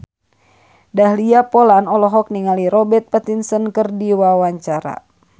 Dahlia Poland olohok ningali Robert Pattinson keur diwawancara